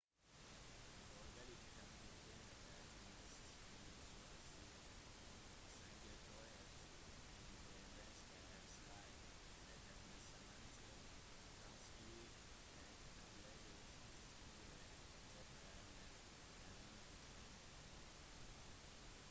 følgelig kan du finne det mest luksuriøse sengetøyet i de beste av slike etablissementer kanskje et håndlaget sengeteppe eller en antikk seng